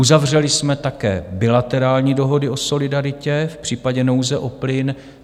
Uzavřeli jsme také bilaterální dohody o solidaritě v případě nouze o plyn.